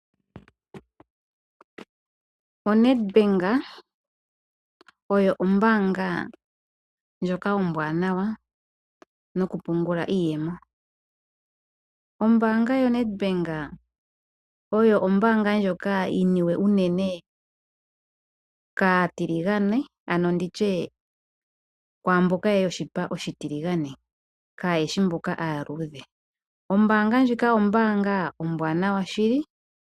ONedbank oyo ombanga ndjoka ombwanawa noku pungula iiyemo. Ombanga yoNedbank oyo ombanga ndjoka yi niwe unene kaatiligane nenge tutye kwaamboka yoshipa oshitiligane kaayeshi mboka yoshipa oshiluudhe. Ombanga ndjoka ombanga ombwanawa shili.